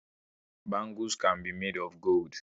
Bangles can be made of gold